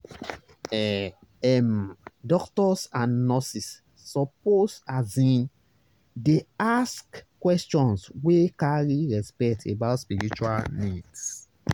ehh ehm doctors and nurses suppose asin dey ask questions wey carry respect about spiritual needs.